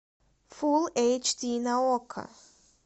фулл эйч ди на окко